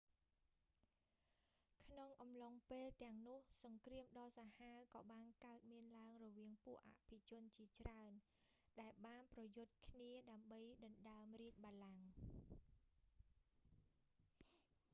ក្នុងអំឡុងពេលទាំងនោះ សង្គ្រាមដ៏សាហាវក៏បានកើតមានឡើងរវាងពួកអភិជនជាច្រើន ដែលបានប្រយុទ្ធគ្នា ដើម្បីដណ្តើមរាជបល្ល័ង្ក